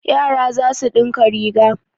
Yara za su ɗinka riga.